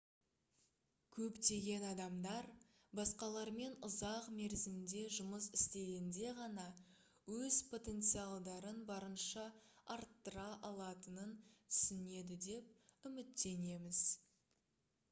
көптеген адамдар басқалармен ұзақ мерзімде жұмыс істегенде ғана өз потенциалдарын барынша арттыра алатынын түсінеді деп үміттенеміз